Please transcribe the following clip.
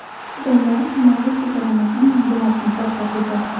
Jamoa himoya chizig‘ini ham yangilashni boshlab yubordi.